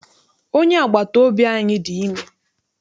Onye agbata obi anyị dị ime.